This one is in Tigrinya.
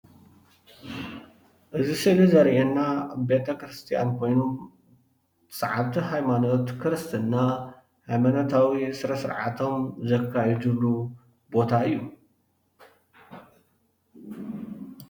እዚ ስእሊ ዘርእየና ቤተክርስትያን ኮይኑ ሰዓብቲ ሃይማኖት ክርስትና ሃይማኖታዊ ስነ - ስርዓቶም ዘካይድሉ ቦታ እዩ፡፡